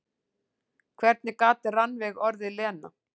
Hvernig gat Rannveig orðið Lena?